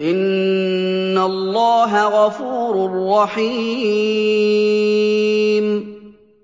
إِنَّ اللَّهَ غَفُورٌ رَّحِيمٌ